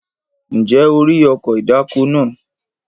Ǹjẹ́ o rí ọkọ̀ ìdáko náà?